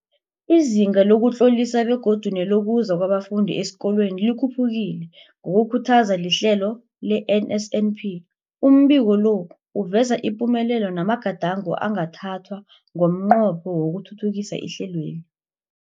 Izinga lokuzitlolisa begodu nelokuza kwabafundi esikolweni likhuphukile ngokukhuthazwa lihlelo le-NSNP. Umbiko lo uveza ipumelelo namagadango angathathwa ngomnqopho wokuthuthukisa ihlelweli.